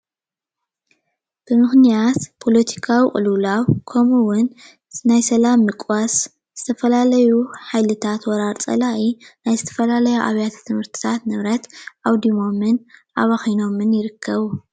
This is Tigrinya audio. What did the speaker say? ብምኽንያት ፓለቲካው ቅልውላው ከምኡ ውን ናይ ሰላም ምቅዋስ ዝተፈላለዩ ሓይልታት ወራሪ ፀላኢ ናይ ዝተፈላለዩ ኣብያተ ትምህርትታት ንብረት ኣውዲሞምን ኣባኺናምን ይርከቡ ።